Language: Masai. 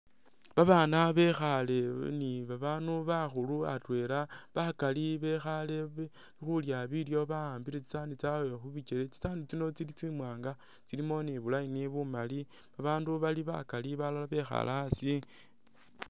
Babaana bekhaale ni babaandu bakhuulu atweela, bakaali bekhaale khulya bilyo bakhambile tsisaanu tsaawe khubikyele tsisaanu tsiino tsili tsimwaanga tsilimo ni bu'line bumaali abandu bali bakaali balala bekhaale asi